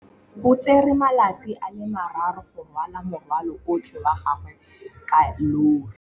O tsere malatsi a le marraro go rwala morwalo otlhe wa gagwe ka llori.